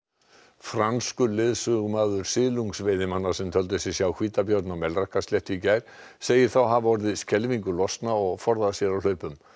franskur leiðsögumaður silungsveiðimanna sem töldu sig sjá hvítabjörn á Melrakkasléttu í gær segir þá hafa orðið skelfingu lostna og forðað sér á hlaupum